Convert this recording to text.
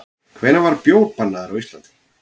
Hvenær var bjór bannaður á Íslandi?